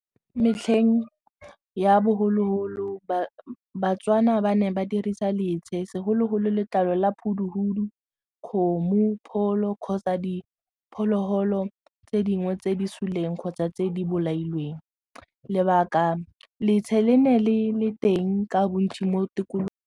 Metlheng ya bogologolo ba-Tswana ba ne ba dirisa letshe segologolo letlalo la , kgomo, pholo kgotsa diphologolo tse dingwe tse di suleng kgotsa tse di bolailweng lebaka letshe le ne le le teng ka bontsi mo tikologong.